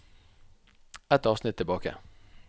Ett avsnitt tilbake